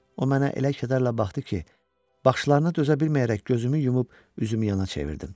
O mənə elə kədərlə baxdı ki, baxışlarına dözə bilməyərək gözümü yumub üzümü yana çevirdim.